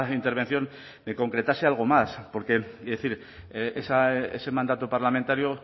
intervención me concretase algo más porque es decir ese mandato parlamentario